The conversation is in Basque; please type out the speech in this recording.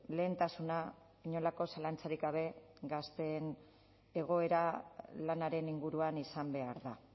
lehentasuna inolako zalantzarik gabe gazteen egoera lanaren inguruan izan behar da